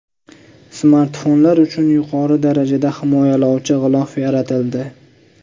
Smartfonlar uchun yuqori darajada himoyalovchi g‘ilof yaratildi .